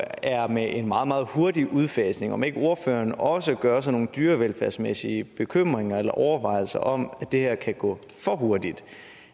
med en meget meget hurtig udfasning om ikke ordføreren også gør sig nogle dyrevelfærdsmæssige bekymringer eller overvejelser om at det her kan gå for hurtigt